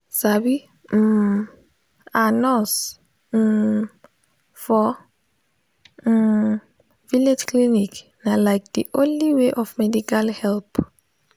sabi um ah nurse um for um village clinic na like de only way of medical help.